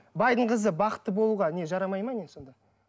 байдың қызы бақытты болуға не жарамайды ма не сонда